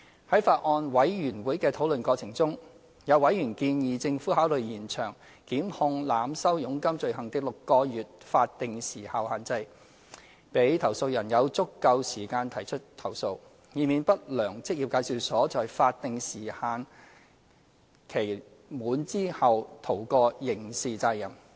在法案委員會的討論過程中，有委員建議政府考慮延長檢控濫收佣金罪行的6個月法定時效限制，讓投訴人有足夠時間提出投訴，以免不良職業介紹所在法定時限期滿後逃過刑事責任。